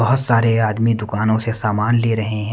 बहुत सारे आदमी दुकानों से सामान ले रहे ।